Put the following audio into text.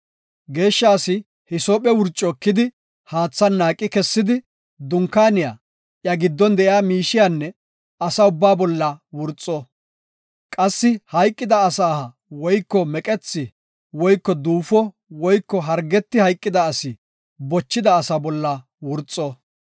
Geeshsha asi hisoophe wurco ekidi haathan naaqi kessidi, dunkaaniya, iya giddon de7iya miishiyanne asa ubbaa bolla wurxo. Qassi hayqida asa aha woyko meqethi woyko duufo woyko hargeti hayqida asi bochida asa bolla wurxo.